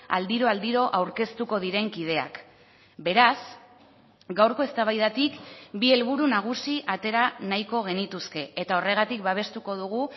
aldiro aldiro aurkeztuko diren kideak beraz gaurko eztabaidatik bi helburu nagusi atera nahiko genituzke eta horregatik babestuko dugu